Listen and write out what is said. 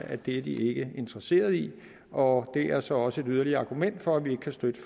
at det er de ikke interesseret i og det er så også et yderligere argument for at vi ikke kan støtte